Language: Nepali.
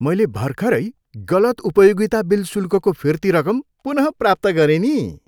मैले भर्खरै गलत उपयोगिता बिल शुल्कको फिर्ती रकम पुनः प्राप्त गरेँ नि।